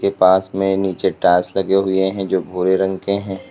पास में नीचे टाइल्स लगे हुए हैं जो भूरे रंग के है।